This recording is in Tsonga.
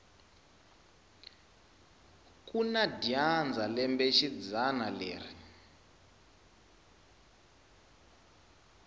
kuna dyandza lembe xidzana leri